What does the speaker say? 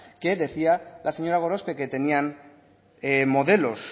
que decía la señora gorospe que tenían modelos